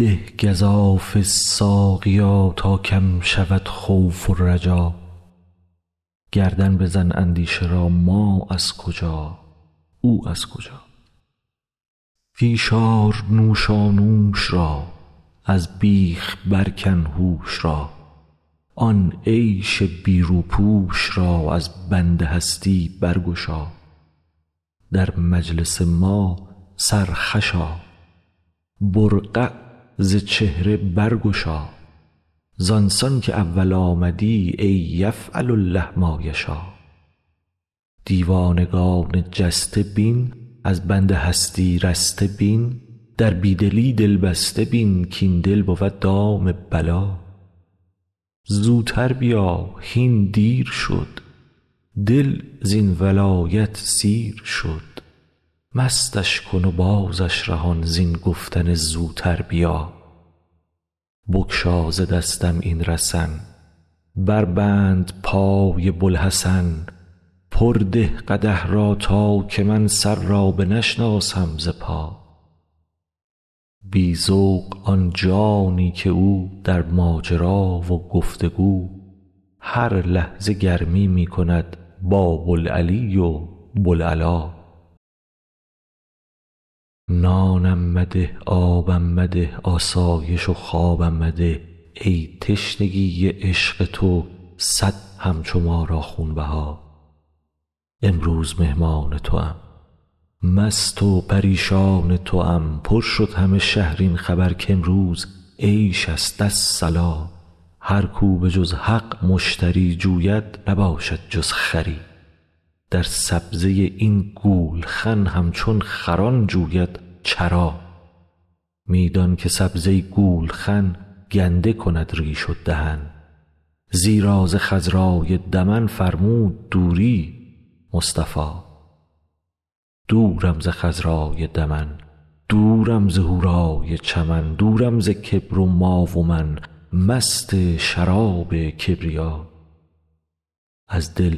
می ده گزافه ساقیا تا کم شود خوف و رجا گردن بزن اندیشه را ما از کجا او از کجا پیش آر نوشانوش را از بیخ برکن هوش را آن عیش بی روپوش را از بند هستی برگشا در مجلس ما سرخوش آ برقع ز چهره برگشا زان سان که اول آمدی ای یفعل الله ما یشاٰ دیوانگان جسته بین از بند هستی رسته بین در بی دلی دل بسته بین کاین دل بود دام بلا زوتر بیا هین دیر شد دل زین ولایت سیر شد مستش کن و بازش رهان زین گفتن زوتر بیا بگشا ز دستم این رسن بربند پای بوالحسن پر ده قدح را تا که من سر را بنشناسم ز پا بی ذوق آن جانی که او در ماجرا و گفت و گو هر لحظه گرمی می کند با بوالعلی و بوالعلا نانم مده آبم مده آسایش و خوابم مده ای تشنگی عشق تو صد همچو ما را خونبها امروز مهمان توام مست و پریشان توام پر شد همه شهر این خبر کامروز عیش است الصلاٰ هر کو به جز حق مشتری جوید نباشد جز خری در سبزه این گولخن همچون خران جوید چرا می دان که سبزه گولخن گنده کند ریش و دهن زیرا ز خضرای دمن فرمود دوری مصطفی دورم ز خضرای دمن دورم ز حورای چمن دورم ز کبر و ما و من مست شراب کبریا از دل